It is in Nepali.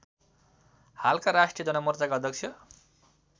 हालका राष्ट्रिय जनमोर्चाका अध्यक्ष